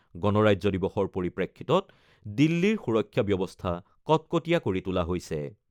গণৰাজ্য দিৱসৰ পৰিপ্ৰেক্ষিতত দিল্লীৰ সুৰক্ষা ব্যৱস্থা কটকটীয়া কৰি তোলা হৈছে।